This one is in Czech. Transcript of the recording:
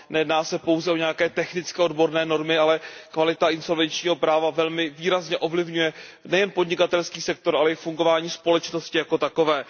Nejedná se pouze o nějaké technické odborné normy, ale kvalita insolvenčního práva velmi výrazně ovlivňuje nejen podnikatelský sektor, ale i fungování společnosti jako takové.